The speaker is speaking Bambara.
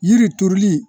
Yiri turuli